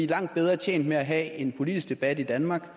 langt bedre tjent med at have en politisk debat i danmark